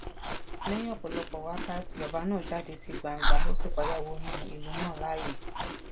lẹyìn ọpọlọpọ wákàtí bàbà náà jáde sí gbangba ó sì padà wọnú ìlú náà láàyè